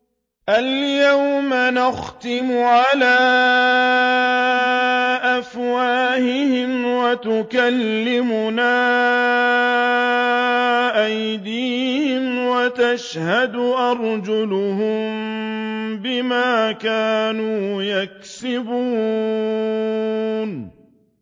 الْيَوْمَ نَخْتِمُ عَلَىٰ أَفْوَاهِهِمْ وَتُكَلِّمُنَا أَيْدِيهِمْ وَتَشْهَدُ أَرْجُلُهُم بِمَا كَانُوا يَكْسِبُونَ